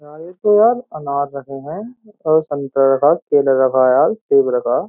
यार ये तो यार अनार रखे हैं और संतरा रखा है केला रखा है सेब रखा है।